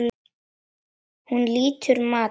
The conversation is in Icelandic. Hún lýtur mati.